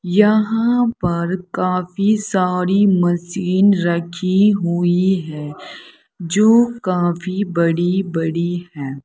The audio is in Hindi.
यहां पर काफी सारी मशीन रखी हुई हैं जो काफी बड़ी बड़ी हैं।